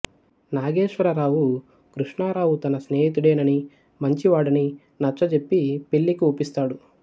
నాగేశ్వరరావు కృష్ణారావు తన స్నేహితుడేనని మంచివాడని నచ్చజెప్పి పెళ్ళికి ఒప్పిస్తాడు